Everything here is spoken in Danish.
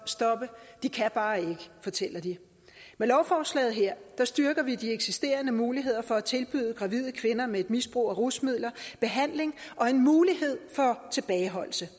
stoppe de kan bare ikke fortæller de med lovforslaget her styrker vi de eksisterende muligheder for at tilbyde gravide kvinder med et misbrug af rusmidler behandling og en mulighed for tilbageholdelse